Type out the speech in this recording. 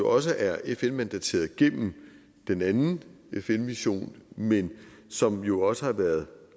også er fn mandateret gennem den anden fn mission men som jo også har været